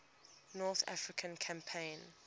north african campaign